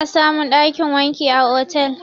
Ana samun ɗakin wanki a otel